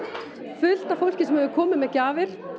fullt af fólki sem hefur komið með gjafir